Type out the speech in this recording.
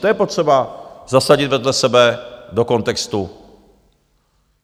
To je potřeba zasadit vedle sebe do kontextu.